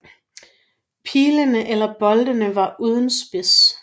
Pilene eller boltene var uden spids